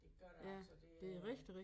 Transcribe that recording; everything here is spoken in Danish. Det gør det altså det er